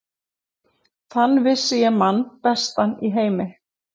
Þann vissi ég mann bestan í heimi.